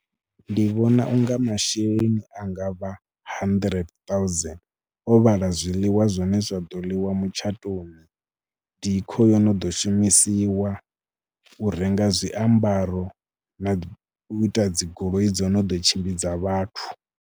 Ndi vhona u nga masheleni anga vha handirente ṱauzeni o vhala zwiḽiwa zwine zwa ḓo ḽiwa mutshatoni, decor i no ḓo shumisiwa, u renga zwiambaro na u ita dzi goloi dzo no ḓo tshimbidza vhathu.